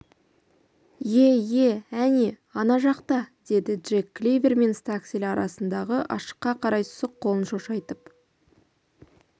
ие ие әне ана жақта деді джек кливер мен стаксель арасындағы ашыққа қарай сұқ қолын шошайтып